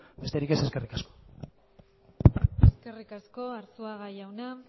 besterik ez eskerrik asko eskerrik asko arzuaga jauna